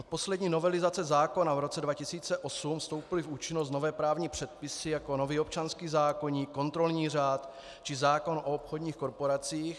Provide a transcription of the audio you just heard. Od poslední novelizace zákona v roce 2008 vstoupily v účinnost nové právní předpisy, jako nový občanský zákoník, kontrolní řád či zákon o obchodních korporacích.